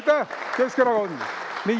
Aitäh, Keskerakond!